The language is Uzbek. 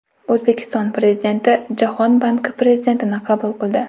O‘zbekiston Prezidenti Jahon banki prezidentini qabul qildi.